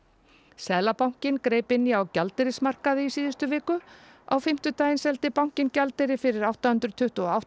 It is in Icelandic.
seðlabankinn greip inn í á gjaldeyrismarkaði í síðustu viku á fimmtudaginn seldi bankinn gjaldeyri fyrir átta hundruð tuttugu og átta